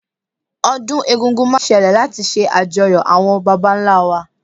ọdun egungun ma n sẹle lati ṣe ajòyó awọn bàbá ńlá wa